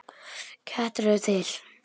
Kettir eru til